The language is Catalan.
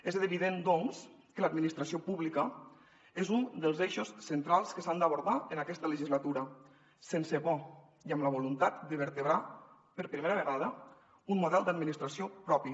és evident doncs que l’administració pública és un dels eixos centrals que s’han d’abordar en aquesta legislatura sense por i amb la voluntat de vertebrar per primera vegada un model d’administració propi